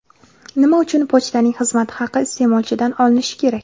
Nima uchun pochtaning xizmat haqi iste’molchidan olinishi kerak?